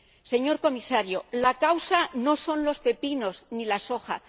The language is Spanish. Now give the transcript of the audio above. Señor Comisario, la causa no son los pepinos ni la soja.